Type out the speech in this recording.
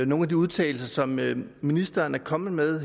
nogle af de udtalelser som ministeren er kommet med